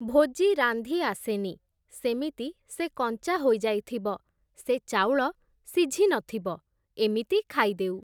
ଭୋଜି ରାନ୍ଧି ଆସେନି, ସେମିତି ସେ କଞ୍ଚା ହୋଇଯାଇଥିବ, ସେ ଚାଉଳ ସିଝି ନଥିବ, ଏମିତି ଖାଇଦେଉ ।